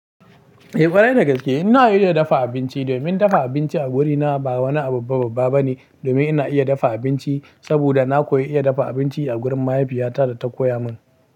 Eh ƙwarai da gaske ina iya dafa abinci, domin dafa abinci a wurina ba wani abun babban ba ne domin ina iya dafa abinci saboda na koyi iya dafa abinci a gurin mahaifiyata da ta koya mun.